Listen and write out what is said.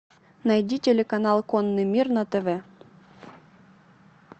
найди телеканал конный мир на тв